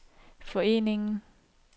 foreningen